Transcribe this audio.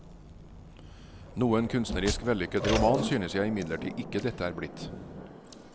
Noen kunstnerisk vellykket roman synes jeg imidlertid ikke dette er blitt.